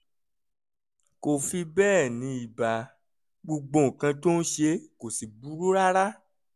kò fi bẹ́ẹ̀ ní ibà gbogbo nǹkan tó ń ṣe kò sì burú rárá